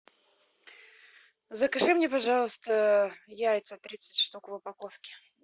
закажи мне пожалуйста яйца тридцать штук в упаковке